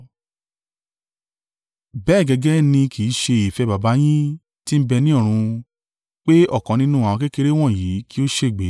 Bẹ́ẹ̀ gẹ́gẹ́, ni kì í ṣe ìfẹ́ Baba yín tí ń bẹ ní ọ̀run, pé ọ̀kan nínú àwọn kékeré wọ̀nyí kí ó ṣègbé.